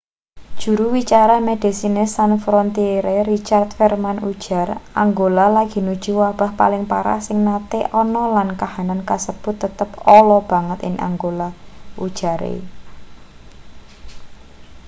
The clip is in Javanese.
juru wicara medecines sans frontiere richard veerman ujar angola lagi nuju wabah paling parah sing nate ana lan kahanan kasebut tetep ala banget ing angola ujare